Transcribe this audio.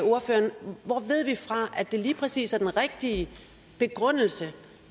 ordføreren hvor ved vi fra at det lige præcis er den rigtige begrundelse